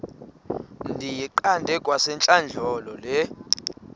ndiyiqande kwasentlandlolo le